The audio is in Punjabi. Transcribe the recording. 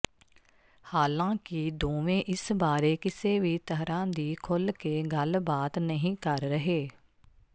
ਹਾਲਾਂ ਕਿ ਦੋਵੇਂ ਇਸ ਬਾਰੇ ਕਿਸੇ ਵੀ ਤਰ੍ਹਾਂ ਦੀ ਖੁੱਲ ਕੇ ਗੱਲਬਾਤ ਨਹੀਂ ਕਰ ਰਹੇ